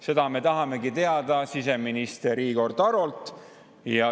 Seda me tahamegi teada siseminister Igor Tarolt.